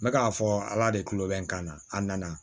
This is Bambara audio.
N bɛ k'a fɔ ala de kulo bɛ n kan na a nana